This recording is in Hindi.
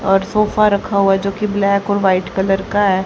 और सोफा रखा हुआ जो की ब्लैक और वाइट कलर का है।